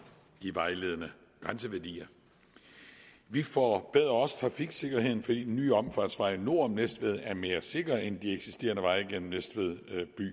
de vejledende grænseværdier vi forbedrer også trafiksikkerheden fordi den nye omfartsvej nord om næstved er mere sikker end de eksisterende veje gennem næstved